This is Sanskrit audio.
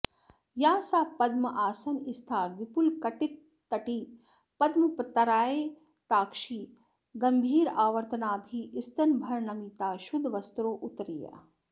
या सा पद्मासनस्था विपुलकटितटी पद्मपत्रायताक्षी गम्भीरावर्तनाभिः स्तनभरनमिता शुद्धवस्त्रोत्तरीया